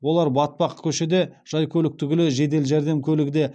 олар батпақ көшеде жай көлік түгілі жедел жәрдем көлігі де